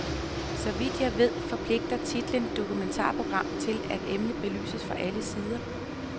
Så vidt jeg ved, forpligter titlen dokumentarprogram til at emnet belyses fra alle sider.